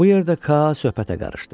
Bu yerdə Ka söhbətə qarışdı.